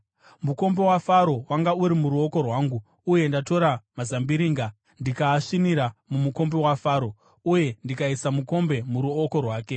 Mukombe waFaro wanga uri muruoko rwangu, uye ndatora mazambiringa, ndikaasvinira mumukombe waFaro uye ndikaisa mukombe muruoko rwake.”